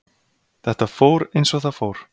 Þetta fór eins og það fór.